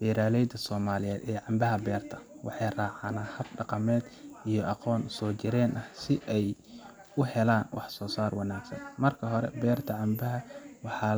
Beeraleyda Soomaaliyeed ee canbaha beerta, waxay raacaan hab dhaqameed iyo aqoon soo jireen ah si ay u helaan waxsoosaar wanaagsan. Marka hore, beerta canbaha waxaa